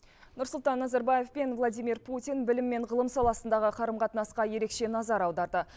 нұрсұлтан назарбаев пен владимир путин білім мен ғылым саласындағы қарым қатынасқа ерекше назар аударды